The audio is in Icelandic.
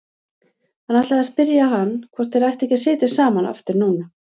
Hann ætlaði að spyrja hann hvort þeir ættu ekki að sitja saman aftur núna.